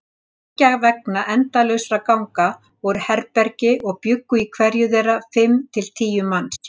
Beggja vegna endalausra ganga voru herbergi og bjuggu í hverju þeirra fimm til tíu manns.